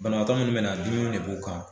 Banabaatɔ minnu bɛ na dumuni de b'u kan